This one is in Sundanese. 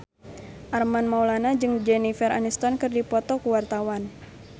Armand Maulana jeung Jennifer Aniston keur dipoto ku wartawan